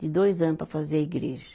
de dois anos para fazer a igreja.